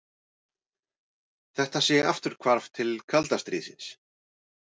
Þetta sé afturhvarf til kalda stríðsins